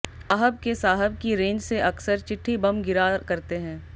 साहब के साहब की रेंज से अक्सर चिट्ठी बम गिरा करते हैं